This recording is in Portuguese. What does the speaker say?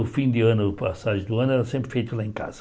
O fim de ano, a passagem do ano era sempre feita lá em casa.